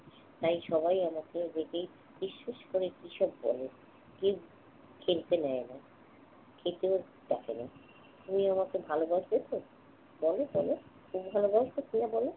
তাই সবাই আমাকে দেখেই ফিসফিস করে কি সব বলে। কেউ খেলতে নেয় না। খেতেও ডাকে না। তুমি আমাকে ভালোবাসবে তো? বলো বলো। তুমি ভালোবাসবে কিনা বলো?